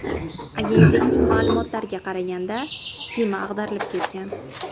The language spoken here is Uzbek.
Agentlikning ma’lumotlariga qaraganda, kema ag‘darilib ketgan.